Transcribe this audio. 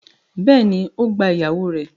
Bẹ́ẹ̀ni, ó gba ìyàwó rẹ̀